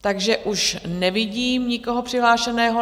Takže už nevidím nikoho přihlášeného.